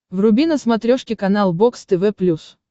вруби на смотрешке канал бокс тв плюс